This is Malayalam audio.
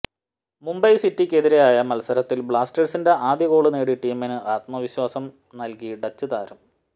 മുംബൈ സിറ്റിയ്ക്കെതിരായ മത്സരത്തില് ബ്ലാസ്റ്റേഴ്സിന്റെ ആദ്യ ഗോള് നേടി ടീമിന് ആത്മവിശ്വാസം നല്കി ഡച്ച് താരം